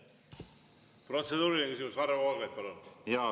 Protseduuriline küsimus, Varro Vooglaid, palun!